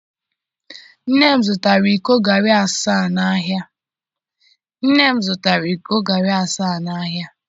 nnem zụtara iko garri asaa n'ahịa.